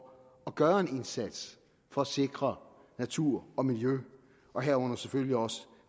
at gøre en indsats for at sikre natur og miljø og herunder selvfølgelig også